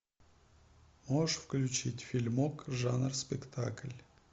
можешь включить фильмок жанр спектакль